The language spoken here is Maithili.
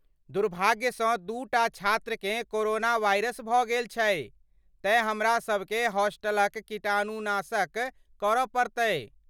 दुर्भाग्यसँ दूटा छात्रकेँ कोरोना वाइरस भऽ गेल छै तेँ हमरासभकेँ हॉस्टलक कीटाणुनाशन करऽ पड़तै।